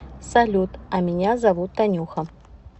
салют а меня зовут танюха